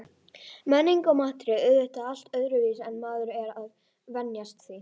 Menningin og maturinn er auðvitað allt öðruvísi en maður er að venjast því.